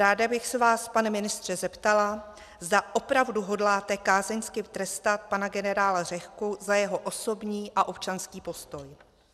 Ráda bych se vás, pane ministře, zeptala, zda opravdu hodláte kázeňsky trestat pana generála Řehku za jeho osobní a občanský postoj.